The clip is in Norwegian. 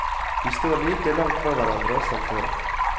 De står like langt fra hverandre som før.